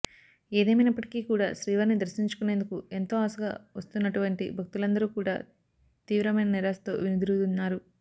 ఏదేమైనప్పటికీ కూడా శ్రీవారిని దర్శించుకునేందుకు ఎంతో ఆశగా వస్తున్నన్నటువంటి భక్తులందరూ కూడా తీవ్రమైన నిరాశతో వెనుదిరుగుతున్నారు